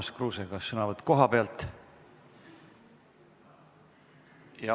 Urmas Kruuse, kas sõnavõtt kohalt?